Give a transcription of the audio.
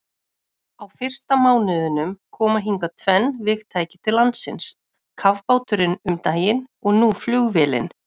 Á fyrsta mánuðinum koma hingað tvenn vígtæki til landsins, kafbáturinn um daginn og nú flugvélin.